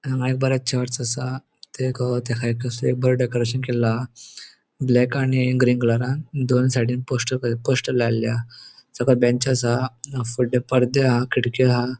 हांगा एक बरे चर्च असा तका एक बरे डेकोरेशन केल्लो हा ब्लैक आणि ग्रीन कलरान दोन साइडीन पोस्टर पोस्टर लायलेले हा तका बेंच असा वडले पडदे हा खिड़की हा.